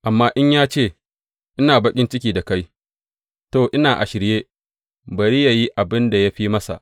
Amma in ya ce, Ina baƙin ciki da kai,’ to, ina a shirye; bari yă yi abin da ya fi masa.